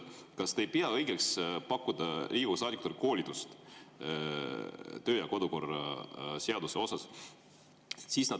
Kas te ei pea õigeks pakkuda Riigikogu saadikutele koolitust töö‑ ja kodukorra seaduse kohta?